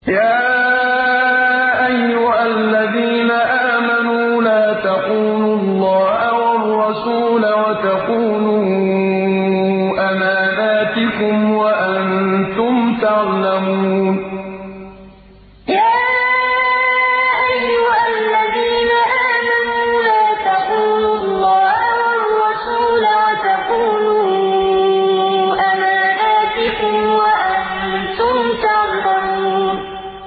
يَا أَيُّهَا الَّذِينَ آمَنُوا لَا تَخُونُوا اللَّهَ وَالرَّسُولَ وَتَخُونُوا أَمَانَاتِكُمْ وَأَنتُمْ تَعْلَمُونَ يَا أَيُّهَا الَّذِينَ آمَنُوا لَا تَخُونُوا اللَّهَ وَالرَّسُولَ وَتَخُونُوا أَمَانَاتِكُمْ وَأَنتُمْ تَعْلَمُونَ